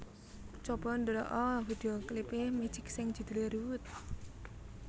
Coba ndelok o video klip e Magic sing judule Rude